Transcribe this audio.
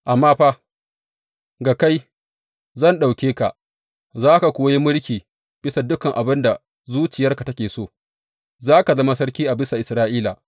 Amma fa, ga kai, zan ɗauke ka, za ka kuwa yi mulki bisa dukan abin da zuciyarka take so; za ka zama sarki a bisa Isra’ila.